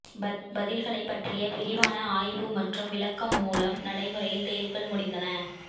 பதில்களைப் பற்றிய விரிவான ஆய்வு மற்றும் விளக்கம் மூலம் நடைமுறையில் தேர்வுகள் முடிந்தன